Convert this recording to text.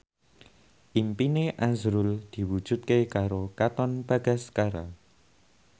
impine azrul diwujudke karo Katon Bagaskara